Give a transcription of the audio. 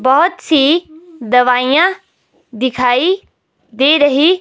बहोत सी दवाईयां दिखाई दे रही--